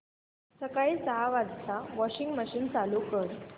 सकाळी सहा वाजता वॉशिंग मशीन चालू कर